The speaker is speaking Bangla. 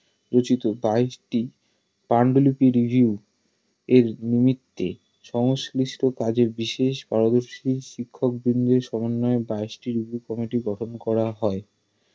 রচিত বাইশটি পান্ডূলিপির Review এর নিমিত্তে সংশ্লিষ্ট কাজের বিশেষ পারদর্শী শিক্ষকবৃন্দের সমন্বয়ে বাইশটি উপ কমিটি গঠন করা হয়